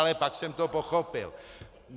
Ale pak jsem to pochopil.